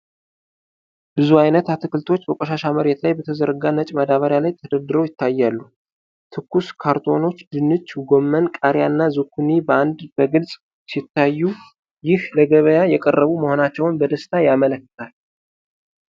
ብዙ አይነት አትክልቶች በቆሻሻ መሬት ላይ በተዘረጋ ነጭ ማዳበሪያ ላይ ተደርድረው ይታያሉ። ትኩስ ካሮቶች፣ ድንች፣ ጎመን፣ ቃሪያና ዙኩኒ በአንድነት በግልጽ ሲታዩ፤ ይህም ለገበያ የቀረቡ መሆናቸውን በደስታ ያመለክታል።